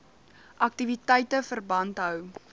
aktiwiteite verband hou